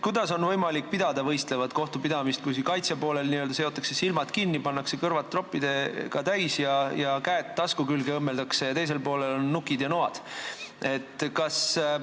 Kuidas on võimalik võistlev kohtupidamine, kui kaitsepoolel n-ö seotakse silmad kinni, pannakse tropid kõrva ja õmmeldakse käed tasku külge, aga teisel poolel on nukid ja noad?